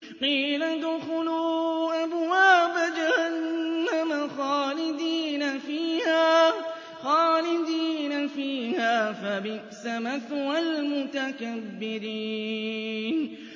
قِيلَ ادْخُلُوا أَبْوَابَ جَهَنَّمَ خَالِدِينَ فِيهَا ۖ فَبِئْسَ مَثْوَى الْمُتَكَبِّرِينَ